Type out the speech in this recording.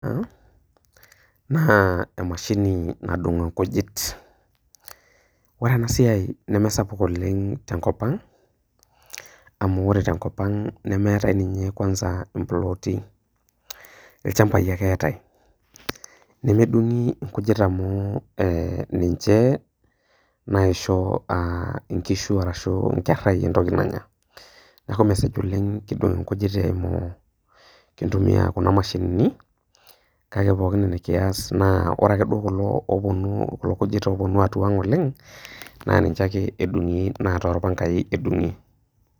naa emashini nadung' inkujit, ore ena siai neme sapuk oleng' tenkop aang',amu ore tenkop aang' nemeatai ninye plot, ilchambai ake eatai, nemedung'i inkujit amu ninche naisho inkishu arashu inkera entoki nanya. Neaku mesej oleng' pee idol inkujit epuo. Kintumia Kuna mashinini, kake Kore Kuna oo nkujit opuonu atua aang' oleng' naa ninche ake edung'i naa toolpangai ake edung'i.